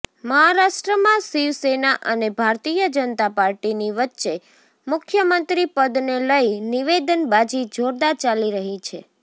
મહારાષ્ટ્રમાં શિવસેના અને ભારતીય જનતા પાર્ટીની વચ્ચે મુખ્યમંત્રી પદને લઇ નિવેદનબાજી જોરદાર ચાલી રહી છે